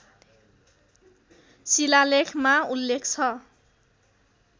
शिलालेखमा उल्लेख छ